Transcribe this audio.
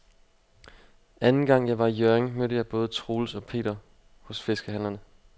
Anden gang jeg var i Hjørring, mødte jeg både Troels og Per hos fiskehandlerne.